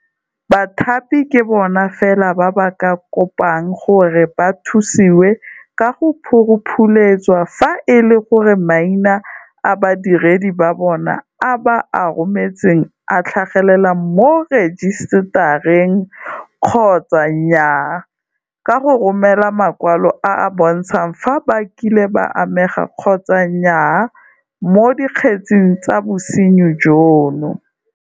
Bathapi ke bona fela ba ba ka kopang gore ba thusiwe ka go phuruphuletswa fa e le gore maina a badiredi ba bona a ba a rometseng a tlhagelela mo rejisetareng kgotsa nnyaa ka go ba romela makwalo a a bontshang fa ba kile ba amega kgotsa nnyaa mo dikgetseng tsa bosenyi jono.